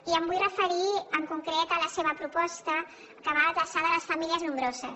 i em vull referir en concret a la seva proposta que va adreçada a les famílies nombroses